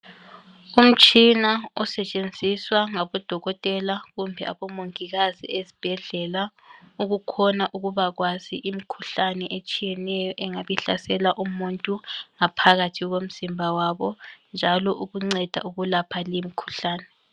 Umtshina osetshenziswa ngabodokotela kumbe abomomngikazi esibhedlela ukukhona ukubakwazi imikhuhlane etshiyeneyo engabe ihlasela umuntu ngaphakathi komzimba wabo njalo ukunceda ukulapha limkhuhlane.